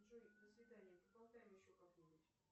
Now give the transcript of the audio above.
джой до свидания поболтаем еще как нибудь